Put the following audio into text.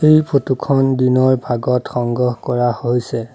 এই ফটো খন দিনৰ ভাগত সংগ্ৰহ কৰা হৈছে।